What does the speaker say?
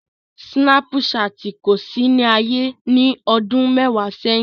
Sinapṣatin ko si ni aye ni ọdun mẹwa sẹhin.